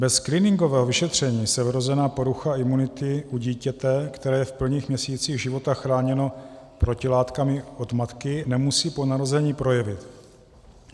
Bez screeningového vyšetření se vrozená porucha imunity u dítěte, které je v prvních měsících života chráněno protilátkami od matky, nemusí po narození projevit.